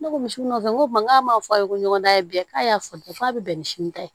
Ne ko misi nɔfɛ n ko k'a m'a fɔ a ye ko ɲɔgɔndan in kɛ k'a y'a fɔ di k'a bɛ bɛn ni sini ta ye